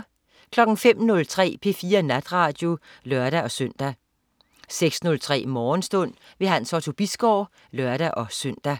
05.03 P4 Natradio (lør-søn) 06.03 Morgenstund. Hans Otto Bisgaard (lør-søn)